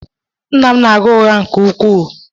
Nna m na-agha ụgha nke ukwuu